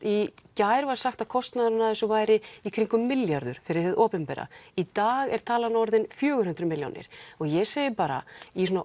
í gær var sagt að kostnaðurinn af þessu væri í kringum milljarður fyrir hið opinbera í dag er talan orðinn fjögur hundruð milljónir ég segi bara í svona